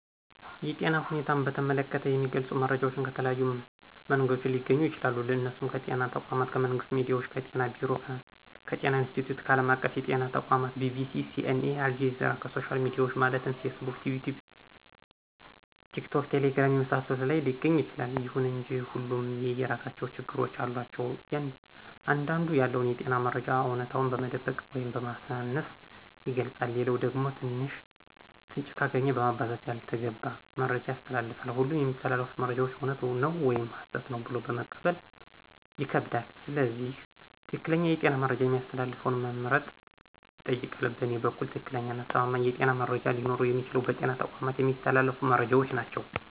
የጤና ሁኔታን በተመለከተ የሚገልጹ መረጃዎች ከተለያዩ መንገዶች ሊገኙ ይችላሉ እነሱም ከጤና ተቋማት :ከመንግስት ሚዲያዎች :ከጤና ቢሮ :ከጤና ኢንስትቲዮት :ከአለም አቀፍ የጤና ተቋማት :BBC :CNA :አልጀዚራና ከሶሻል ሚዲያዎች ማለትም ፌስቡክ: ይቲዩብ :ቲክቶክና ቴሌግራም የመሳሰሉት ላይ ሊገኝ ይችላል። ይሁን እንጂ ሁሉም የየራሳቸው ችግሮች አሏቸው አንዳንዱ ያለውን የጤና መረጃ አውነታውን በመደበቅ ወይም በማሳነስ ይገልጻል ሌላኛው ደግሞ ትንሽ ፍንጭ ካገኘ በማባዛት ያልተገባ መረጃ ያስተላልፋል ሁሉም የሚተላለፉት መረጃዎች እውነት ነው ወይም ሀሰት ነው ብሎ መቀበል ይከብዳል ስለዚህ ትክክለኛ የጤና መረጃ የሚያስተላልፈውን መምረጥ ይጠይቃል በእኔ በኩል ትክክለኛና አስተማማኝ የጤና መረጃ ሊኖረው የሚችለው በጤና ተቋማት የሚተላለፉት መረጃዎች ናቸው